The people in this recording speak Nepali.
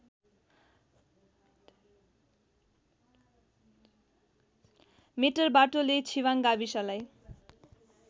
मेटरवाटोले छिवाङ गाविसलाई